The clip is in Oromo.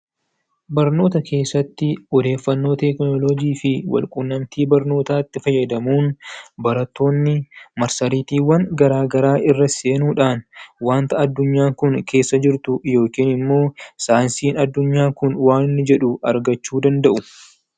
Barnoota keessatti odeeffannoo tekinoloojii fi walqunnamtii barnootaatti fayyadamuun barattoonni marsariitiiwwan garaa garaa irra seenuudhaan wanta addunyaa kun keessa jirtu yookiin immoo saayinsiin addunyaa kun waan inni jedhu argachuu danda'u.